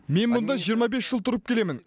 мен мұнда жиырма бес жыл тұрып келемін